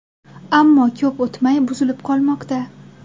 Ammo ko‘p o‘tmay buzilib qolmoqda.